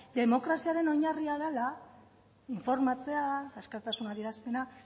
demokraziaren oinarria dela informatzea askatasun adierazpena